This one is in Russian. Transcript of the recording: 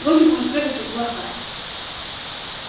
луч будет прыгать как блоха